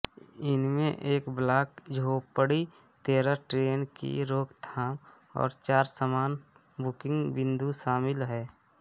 इनमें एक ब्लॉक झोपड़ी तेरह ट्रेन की रोकथाम और चार सामान बुकिंग बिंदु शामिल हैं